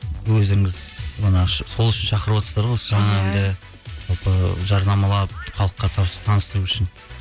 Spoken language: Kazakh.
өздеріңіз манағы сол үшін шақырватсыздар ғой жалпы жарнамалап халыққа таныстыру үшін